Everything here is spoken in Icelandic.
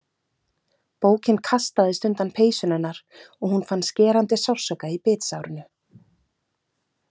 Bókin kastaðist undan peysunni hennar og hún fann skerandi sársauka í bitsárinu.